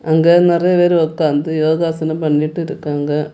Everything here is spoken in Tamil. அங்க நெறைய பேரு ஒக்காந்து யோகாசனம் பண்ணிட்டு இருக்காங்க.